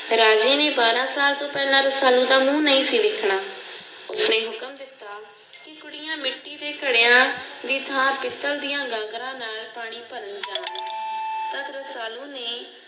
ਰਾਜੇ ਨੇ ਬਾਰਾਂ ਸਾਲ ਤੋਂ ਪਹਿਲਾਂ ਰਸਾਲੂ ਦਾ ਮੂੰਹ ਨਹੀਂ ਸੀ ਦੇਖਣਾ। ਕੁੜੀਆਂ ਮਿੱਟੀ ਦੇ ਘੜਿਆ ਦੀ ਥਾਂ ਪਿੱਤਲ ਦੀਆਂ ਨਾਲ ਗਾਗਰਾਂ ਪਾਣੀ ਭਰਨ ਜਾਂਦੀਆ। ਰਸਾਲੂ ਨੇ